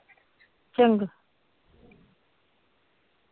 ਚੰਗਾ